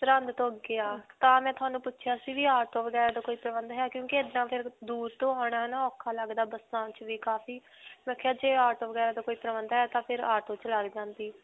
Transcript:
ਸਿਰ੍ਹੰਦ ਤੋਂ ਅੱਗੇ ਹੈ. ਤਾਂ ਮੈਂ ਤੁਹਾਨੂੰ ਪੁੱਛਿਆ ਸੀ ਵੀ auto ਵਗੈਰਾ ਦਾ ਕੋਈ ਪ੍ਰਬੰਧ ਹੈ ਕਿਉਂਕਿ ਇੱਦਾਂ ਫਿਰ ਦੂਰ ਤੋਂ ਆਉਣਾ ਨਾ ਔਖਾ ਲਗਦਾ ਬੱਸਾਂ 'ਚ ਵੀ ਕਾਫੀ. ਮੈਂ ਕਿਹਾ ਜੇ auto ਵਗੈਰਾ ਦਾ ਕੋਈ ਪ੍ਰਬੰਧ ਹੈ ਤਾਂ auto 'ਚ ਲਗ ਜਾਂਦੀ.